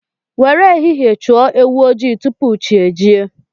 Nwere ehihie chụọ ewu ojii tupu chi ejie